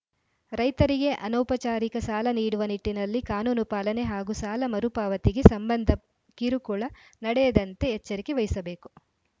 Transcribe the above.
ರೈತರಿಗೆ ಅನೌಪಚಾರಿಕ ಸಾಲ ನೀಡುವ ನಿಟ್ಟಿನಲ್ಲಿ ಕಾನೂನುಪಾಲನೆ ಹಾಗೂ ಸಾಲ ಮರುಪಾವತಿಗೆ ಸಂಬಂಧ ಕಿರುಕುಳ ನಡೆಯದಂತೆ ಎಚ್ಚರಿಕೆ ವಹಿಸಬೇಕು